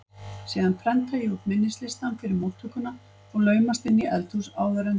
Síðan prenta ég út minnislistann fyrir móttökuna og laumast inn í eldhús áður en